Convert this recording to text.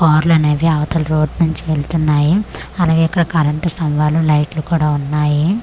కార్లనేవి అవతల రోడ్ నుంచి వెళ్తున్నాయి అలాగే ఇక్కడ కరెంటుస్తంభాలు లైట్లు కూడా ఉన్నాయి.